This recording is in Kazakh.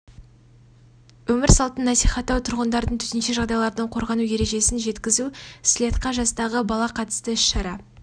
өмір салтын насихаттау тұрғындардың төтенше жағдайлардан қорғану ережесін жеткізу слеттқа жастағы бала қатысты іс шара